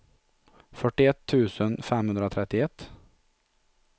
fyrtioett tusen femhundratrettioett